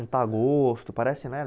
Juntar gosto, parece, né?